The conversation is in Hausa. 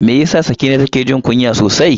Me yasa Sakina take jin kunya sosai?